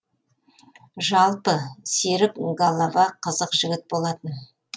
жалпы серік голова қызық жігіт болатын